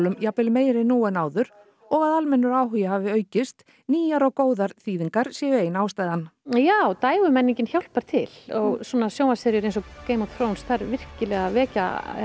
jafnvel meiri nú en áður og að almennur áhugi hafi aukist nýjar góðar þýðingar séu ein ástæðan já dægurmenningin hjálpar til og svona sjónvarpsseríur eins og Game of þær virkilega vekja